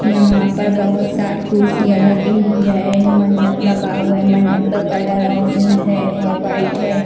यहाँ पर बहुत सारी कुर्सियाँ लगी हुई हैं मंडप लगा हुआ है मंडप का कलर ऑरेंज है और व्हाईट है।